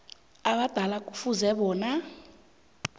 abadala kufuze bona